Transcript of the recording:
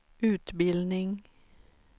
utbildning